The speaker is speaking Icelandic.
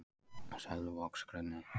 Selvogsgrunni